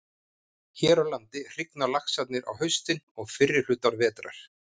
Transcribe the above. Hér á landi hrygna laxarnir á haustin og fyrri hluta vetrar.